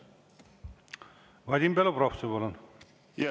Vadim Belobrovtsev, palun!